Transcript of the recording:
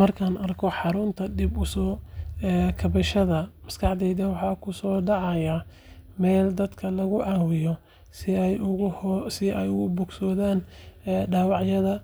Markaan arko xarunta dib u soo kabashada, maskaxdayda waxaa ku soo dhacaya meel dadka lagu caawiyo si ay uga bogsadaan dhaawacyada,